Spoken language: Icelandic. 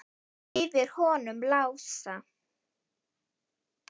Yfir honum Lása?